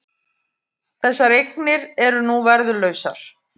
Þessar eignir eru nú verðlausar